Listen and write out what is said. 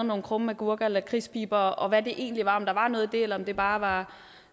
nogle krumme agurker og lakridspiber og hvad det egentlig var om der var noget i det eller om det bare var